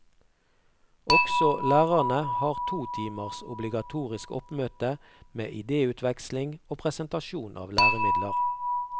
Også lærerne har to timers obligatorisk oppmøte med idéutveksling og presentasjon av læremidler.